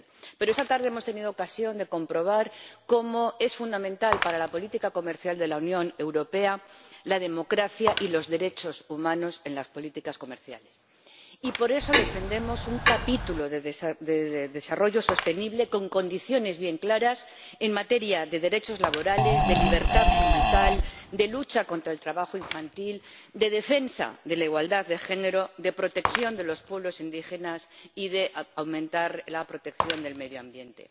Pero esta tarde hemos tenido ocasión de comprobar lo fundamentales que son para la política comercial de la Unión Europea la democracia y los derechos humanos en las políticas comerciales y por eso defendemos un capítulo de desarrollo sostenible con condiciones bien claras en materia de derechos laborales, de libertad sindical, de lucha contra el trabajo infantil, de defensa de la igualdad de género, de protección de los pueblos indígenas y de aumento de la protección del medio ambiente.